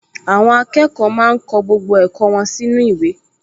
Àwọn akẹ́kọ̀ọ máa ń kọ gbogbo ẹ̀kọ́ wọn sínú ìwé